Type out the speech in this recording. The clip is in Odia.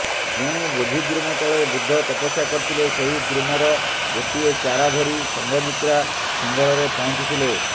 ଯେଉଁ ବୋଧିଦ୍ରୁମ ତଳେ ବୁଦ୍ଧ ତପସ୍ୟା କରିଥିଲେ ସେହି ଦ୍ରୁମର ଗୋଟିଏ ଚାରା ଧରି ସଘଂମିତ୍ରା ସିଂହଳରେ ପହଞ୍ଚିଥିଲେ